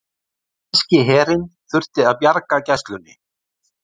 Danski herinn þurfti að bjarga Gæslunni